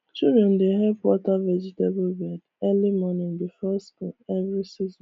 children dey help water vegetable bed early morning before school every season